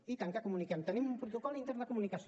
i tant que comuniquem tenim un protocol intern de comunicació